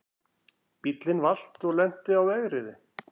Bíllinn valt og lenti á vegriði